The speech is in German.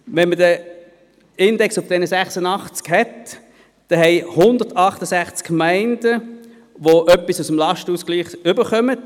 Wenn man den Index von 86 hat, gibt es 168 Gemeinden, die etwas aus dem Lastenausgleich erhalten.